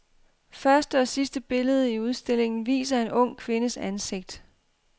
Første og sidste billede i udstillingen viser en ung kvindes ansigt.